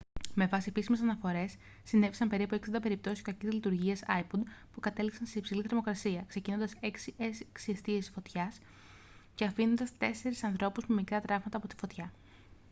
με βάση επίσημες αναφορές συνέβησαν περίπου 60 περιπτώσεις κακής λειτουργίας ipod που κατέληξαν σε υψηλή θερμοκρασία ξεκινώντας έξι εστίες φωτιάς και αφήνοντας τέσσερις ανθρώπους με μικρά τραύματα από τη φωτιά